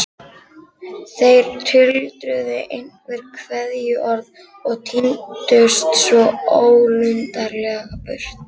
Þeir tuldruðu einhver kveðjuorð og tíndust svo ólundarlega burt.